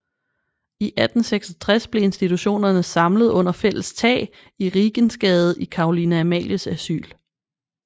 I 1866 blev institutionerne samlet under fælles tag i Rigensgade i Caroline Amalies Asyl